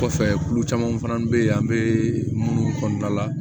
Kɔfɛ tulu caman fana bɛ yen an bɛ minnu kɔnɔna la